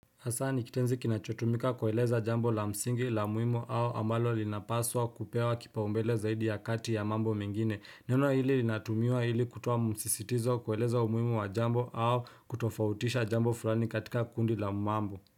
Hasa ni kitenzi kinachotumika kueleza jambo la msingi la muhimu au ambalo linapaswa kupewa kipaumbele zaidi ya kati ya mambo mengine. Neno hili linatumiwa hili kutuwa msisitizo kueleza umuhimu wa jambo au kutofautisha jambo fulani katika kundi la mambo.